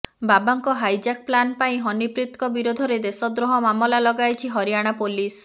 ବାବାଙ୍କ hijack plan ପାଇଁ ହନିପ୍ରୀତଙ୍କ ବିରୋଧରେ ଦେଶଦ୍ରୋହ ମାମଲା ଲଗାଇଛି ହରିଆଣା ପୋଲିସ